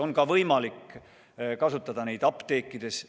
Neid on võimalik kasutada ka apteekides.